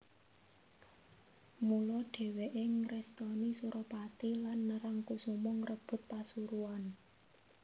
Mula dheweke ngrestoni Suropati lan Nerangkusuma ngrebut Pasuruan